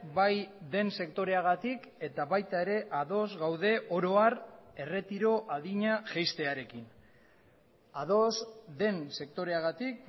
bai den sektoreagatik eta baita ere ados gaude oro har erretiro adina jaistearekin ados den sektoreagatik